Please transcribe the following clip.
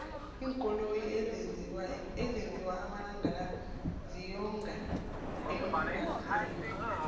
iinkoloyi ezenzwa amalangala ziyonga eembaselini